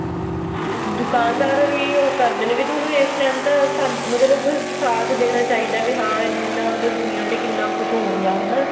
ਦੁਕਾਨਦਾਰ ਵੀ ਉਹ ਕਰਦੇ ਨੇ ਵੀ ਤੁਹਾਨੂੰ ਇਸ ਟੈਂਮ ਤਾਂ ਸਾਨੂੰ ਮਤਲਬ ਸਾਥਦੇਣਾ ਚਾਹੀਦਾ ਵੀ ਹਾਂ ਇੰਨਾ ਮਤਲਬ ਦੁਨੀਆਂ ਤੇ ਕਿੰਨਾ ਕੁੱਝ ਹੋ ਗਿਆ ਹਨਾ